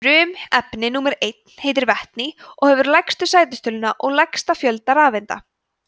frumefni númer einn heitir vetni og hefur lægstu sætistöluna og lægsta fjölda rafeinda